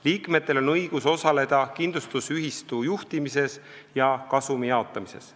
Liikmetel on õigus osaleda kindlustusühistu juhtimises ja kasumi jaotamises.